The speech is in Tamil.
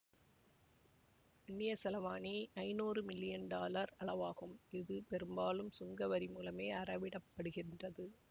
அந்நியச் செலாவணி ஐநூறு மில்லியன் டாலர் அளவாகும் இது பெரும்பாலும் சுங்க வரிமூலமே அறவிடப் படுகின்றது